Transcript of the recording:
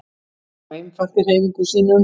Svo einfalt í hreyfingum sínum.